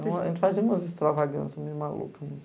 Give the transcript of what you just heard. Então, a gente fazia umas extravagâncias meio malucas.